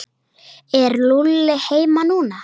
Er Lúlli heima núna?